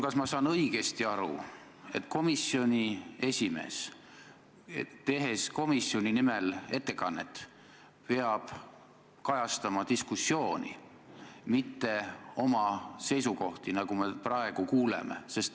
Kas ma saan õigesti aru, et komisjoni esimees, tehes komisjoni nimel ettekannet, peab kajastama diskussiooni, mitte oma seisukohti, nagu me praegu kuuleme?